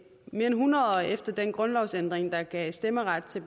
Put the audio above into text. mere end hundrede år efter den grundlovsændring der gav stemmeret til